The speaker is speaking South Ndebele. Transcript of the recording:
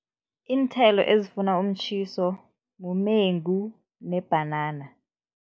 Iinthelo ezifuna umtjhiso, mumengu nebhanana.